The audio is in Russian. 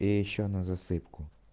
и ещё на засыпку